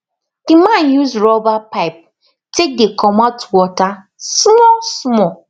the man use rubber pipe take dey comot water smallsmall